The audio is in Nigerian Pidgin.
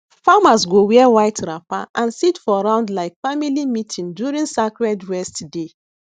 farmers go wear white wrapper and sit for round like family meeting during sacred rest day